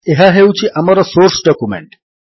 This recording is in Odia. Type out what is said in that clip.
ଏହା ହେଉଛି ଆମର ସୋର୍ସ ଡକ୍ୟୁମେଣ୍ଟ